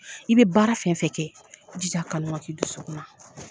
I bɛ baara fɛn fɛ kɛ jija a kanu ka kɛ i dusukun na.